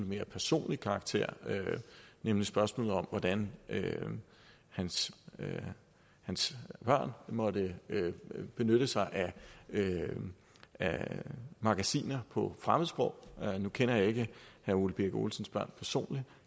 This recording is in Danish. mere personlig karakter nemlig spørgsmålet om hvordan hans hans børn måtte benytte sig af magasiner på fremmedsprog nu kender jeg ikke herre ole birk olesens børn personligt